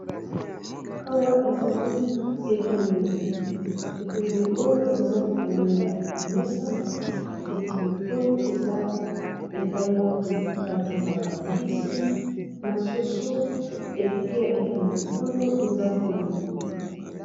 Kawa ezali etumbeli! Etumbeli oyo eza likolo ya mesa etumbeli oyo eza epai wapi batumbaka mbisi na soso ekuke ya etumbeli oyo eza polele.